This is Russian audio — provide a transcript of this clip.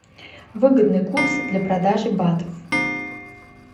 выгодный курс для продажи батов